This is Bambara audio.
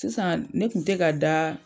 Sisan ne kun tɛ ka da.